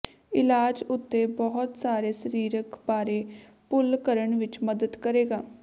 ਇਲਾਜ ਉੱਥੇ ਬਹੁਤ ਸਾਰੇ ਸਰੀਰਿਕ ਬਾਰੇ ਭੁੱਲ ਕਰਨ ਵਿੱਚ ਮਦਦ ਕਰੇਗਾ